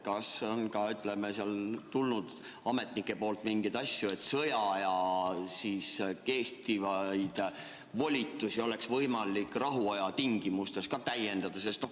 Kas on ametnikelt tulnud ka mingeid ettepanekuid, et sõjaajal kehtivaid volitusi võiks olla võimalik rahuaja tingimustes rakendada?